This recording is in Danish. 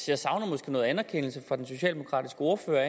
jeg savner måske en erkendelse fra den socialdemokratiske ordfører